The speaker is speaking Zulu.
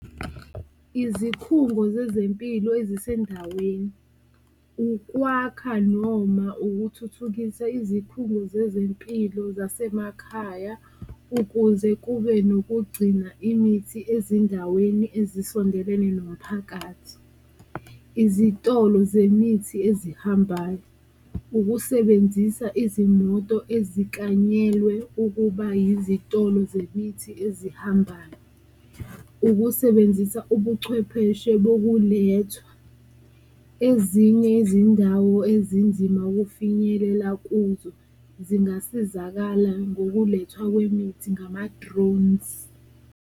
Izikhungo zezempilo ezisendaweni ukwakha noma ukuthuthukisa izikhungo zezempilo zasemakhaya ukuze kube nokugcina imithi ezindaweni ezisondelene nomphakathi. Izitolo zemithi ezihambayo, ukusebenzisa izimoto eziklanyelwe ukuba yizitolo zemithi ezihambayo, ukusebenzisa ubuchwepheshe bokulethwa, ezinye izindawo ezinzima ukufinyelela kuzo zingasizakala ngokulethwa kwemithi ngama-drones.